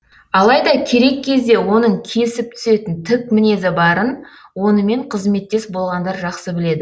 алайда керек кезде оның кесіп түсетін тік мінезі барын онымен қызметтес болғандар жақсы біледі